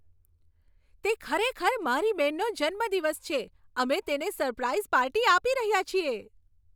તે ખરેખર મારી બહેનનો જન્મદિવસ છે. અમે તેને સરપ્રાઈઝ પાર્ટી આપી રહ્યા છીએ.